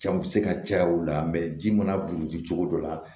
Can bɛ se ka caya o la ji mana buruji cogo dɔ la